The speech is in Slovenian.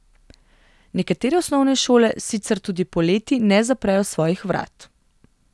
Nekatere osnovne šole sicer tudi poleti ne zaprejo svojih vrat.